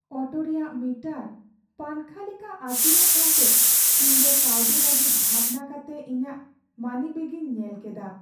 Auto ᱨᱮᱭᱟᱜ meter ᱯᱟᱝᱠᱷᱟ ᱞᱮᱠᱟ ᱟᱹᱪᱩᱨᱚᱜ ᱠᱟᱱᱛᱮ ᱤᱧᱫᱚ ᱠᱟᱹᱣᱰᱤ ᱞᱟᱹᱜᱤᱫ ᱵᱷᱟᱵᱽᱱᱟ ᱠᱟᱛᱮ ᱤᱧᱟᱹᱜ ᱢᱟᱱᱤᱵᱮᱹᱜ ᱤᱧ ᱧᱮᱞ ᱠᱮᱫᱟ ᱾